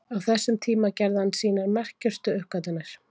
Á þessum tíma gerði hann sínar merkustu uppgötvanir.